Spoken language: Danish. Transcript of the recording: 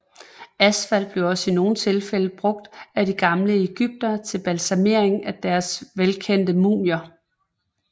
Asfalt blev også i nogle tilfælde brugt af de gamle egyptere til balsamering af deres velkendte mumier